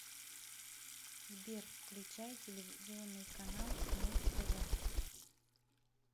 сбер включай телевизионный канал муз тв